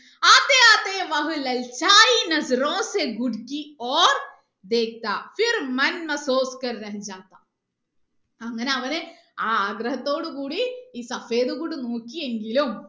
അങ്ങനെ അവന് ആ ആഗ്രഹത്തോട് കൂടി ഈ നോക്കിയെങ്കിലും